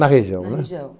Na região, né? Na região.